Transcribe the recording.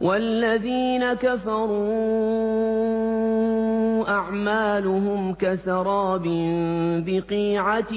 وَالَّذِينَ كَفَرُوا أَعْمَالُهُمْ كَسَرَابٍ بِقِيعَةٍ